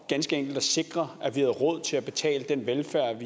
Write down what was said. ganske enkelt at sikre at vi råd til at betale den velfærd